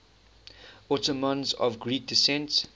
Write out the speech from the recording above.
ottomans of greek descent